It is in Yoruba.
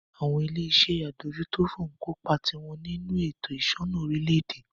Àwọn ilé iṣé adójútòfò ń kó ipá tiwọn nínú ètò ìṣúná orílẹ̀-èdè.